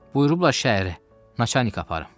Buyurublar şəhəri Naçanika aparım.